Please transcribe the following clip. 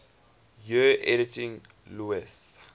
years editing lewes's